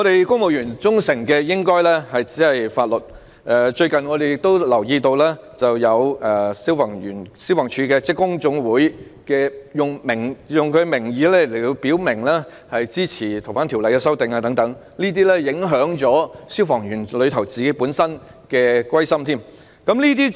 公務員只應該對法律表示忠誠，但我們最近留意到，香港消防處職工總會以自己的名義表明支持對《逃犯條例》的修訂，這會影響消防員的歸心。